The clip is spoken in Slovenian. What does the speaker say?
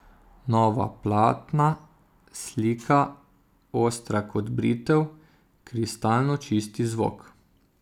Nova platna, slika, ostra kot britev, kristalno čist zvok...